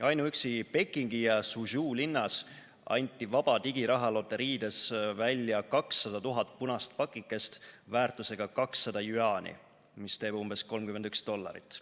Ainuüksi Pekingi ja Suzhou linnas anti vaba digirahaloteriides välja 200 000 punast pakikest väärtusega 200 jüaani, mis teeb umbes 31 dollarit.